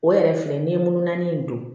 O yɛrɛ filɛ nin ye mun naani in don